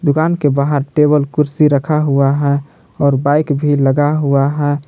दुकान के बाहर टेबल कुर्सी रखा हुआ है और बाइक भी लगा हुआ है।